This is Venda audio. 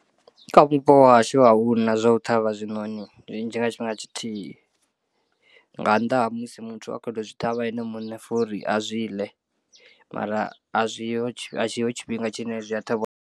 Kha vhupo ha hashu ahuna zwa u ṱhavha zwiṋoni zwinzhi nga tshifhinga tshithihi nga nnḓa ha musi muthu a kho to zwi ṱhavha ene muṋe for uri a zwi ḽe mara a zwiho a tshiho tshifhinga tshine zwi a ṱhavhiwa.